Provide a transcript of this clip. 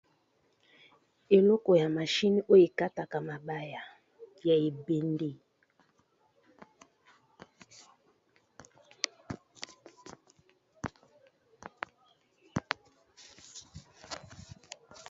Eloko ya mashine oyo ekataka mabaya ya ebende